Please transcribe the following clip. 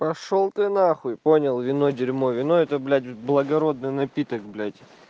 пошёл ты на хуй понял вино дерьмо вино это блять благородный напиток блять